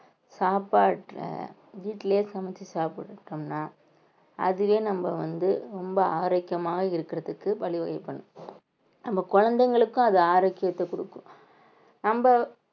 சாப்பாட்டுல வீட்டுலயே சமைச்சு சாப்பிட்டுட்டோம்ன்னா அதுவே நம்ம வந்து ரொம்ப ஆரோக்கியமா இருக்கிறதுக்கு வழி வகை பண்ணும் நம்ம குழந்தைகளுக்கும் அது ஆரோக்கியத்தை கொடுக்கும் நம்ம